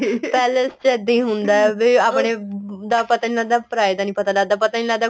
palace ਚ ਇੱਦਾਂ ਹੀ ਹੁੰਦਾ ਏ ਵੀ ਆਪਣੇ ਦਾ ਪਤਾ ਨਹੀਂ ਲੱਗਦਾ ਪਰਾਏ ਦਾ ਪਤਾ ਨਹੀਂ ਲੱਗਦਾ ਪਤਾ ਹੀ ਨਹੀਂ ਲੱਗਦਾ